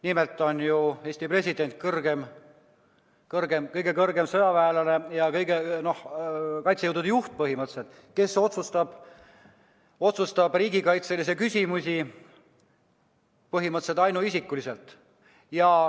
Nimelt on ju Eesti president kõige kõrgem sõjaväelane ja põhimõtteliselt kaitsejõudude juht, kes otsustab riigikaitselisi küsimusi põhimõtteliselt ainuisikuliselt.